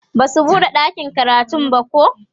Basu buɗe ɗakin karatun bako